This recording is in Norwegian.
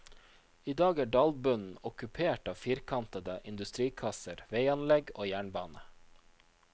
I dag er dalbunnen okkupert av firkantede industrikasser, veianlegg og jernbane.